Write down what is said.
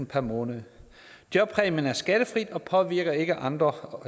per måned jobpræmien er skattefri og påvirker ikke andre